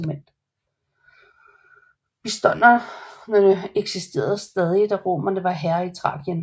Bistonerne eksisterede stadig da romerne var herrer i Thrakien